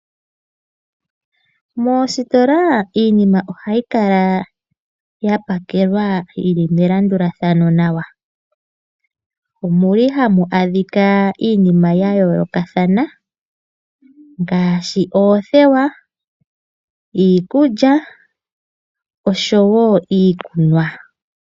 Moositola iinimi ohayi kala yapakelwa yili melandulathano nawa ,omuli hamu adhikwa iinima ya yoolokathana ngaashi oothewa, iikulya oshowo iikunwa.